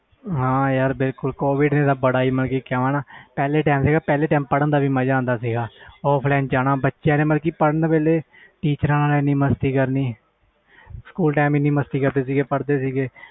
ਹਾਂ ਯਾਰ ਬਿਲਕੁਲ ਕੋਵਿਡ ਨੇ ਤੇ ਪਹਲੇ ਤੇ ਪੜ੍ਹਨ ਦਾ ਵੀ ਬਹੁਤ ਮਾਝਾ ਆਂਦਾ ਸੀ offline ਜਾਣਾ teachers ਨਾਲ ਏਨੀ ਮਸਤੀ ਕਰਨੀ ਪੜ੍ਹਦੇ ਸੀ ਗਏ